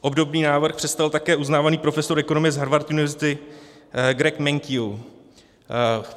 Obdobný návrh představil také uznávaný profesor ekonomie z Harvard University Greg Mankiw.